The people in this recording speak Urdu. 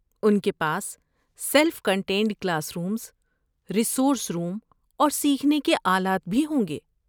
ان کے پاس self contained classroom, resource room اور سیکھنے کے آلات بھی ہوں گے۔